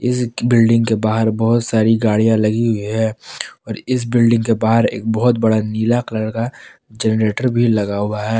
इस बिल्डिंग के बाहर बहुत सारी गाड़ियाँ लगी हुई है और इस बिल्डिंग के बाहर एक बहुत बड़ा नीला कलर का जेनरेटर भी लगा हुआ है।